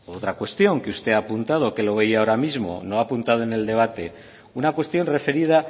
otra cuestión que usted ha apuntado que lo veía ahora mismo lo ha apuntado en el debate una cuestión referida